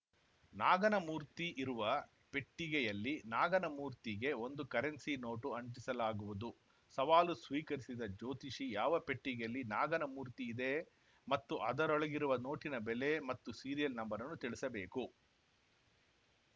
ನಾಗನ ಮೂರ್ತಿ ಇರುವ ಪೆಟ್ಟಿಗೆಯಲ್ಲಿ ನಾಗನ ಮೂರ್ತಿಗೆ ಒಂದು ಕರೆನ್ಸಿ ನೋಟು ಅಂಟಿಸಲಾಗುವುದು ಸವಾಲು ಸ್ವೀಕರಿಸಿದ ಜ್ಯೋತಿಷಿ ಯಾವ ಪೆಟ್ಟಿಗೆಯಲ್ಲಿ ನಾಗನ ಮೂರ್ತಿ ಇದೆ ಮತ್ತು ಅದರೊಳಗಿರುವ ನೋಟಿನ ಬೆಲೆ ಮತ್ತು ಸೀರಿಯಲ್‌ ನಂಬರನ್ನು ತಿಳಿಸಬೇಕು